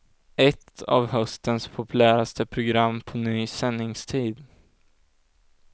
Ett av höstens populäraste program på ny sändningstid.